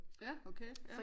Ja okay ja